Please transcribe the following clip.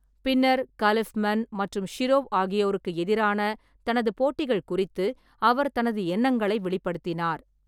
பின்னர், காலிஃப்மன் மற்றும் ஷிரோவ் ஆகியோருக்கு எதிரான தனது போட்டிகள் குறித்து அவர் தனது எண்ணங்களை வெளிப்படுத்தினார்.